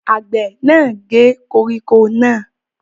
Àgbẹ̀ náà gé koríko náà?